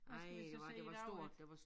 Hvad skal vi så se i dag ik